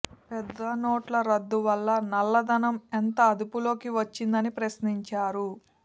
పెద్ద నోట్ల రద్దు వల్ల నల్లధనం ఎంత అదుపులోకి వచ్చిందని ప్రశ్నించారు